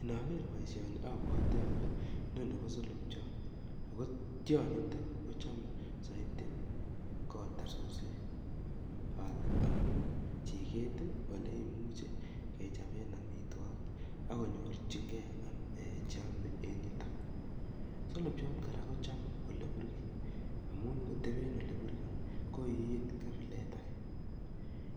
Inager baishoni abwate ko solobchot akotionyi kochome saiti koyab suswek ale amun chiket neimuche kechoben amitwagik akinyorchigei cheyame en yuton solobchat kora kochame oleburgei amun koteben oleburgei koiin kabilet age